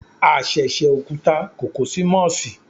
A sẹsẹ okuta kó ko si Mossi